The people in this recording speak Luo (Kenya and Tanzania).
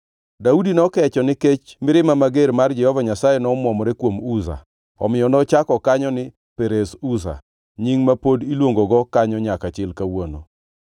Daudi nokecho nikech mirima mager mar Jehova Nyasaye nomwomore kuom Uza, omiyo nochak kanyo ni Perez Uza, nying ma pod iluongogo kanyo nyaka chil kawuono.